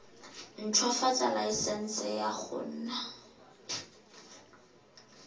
ntshwafatsa laesense ya go nna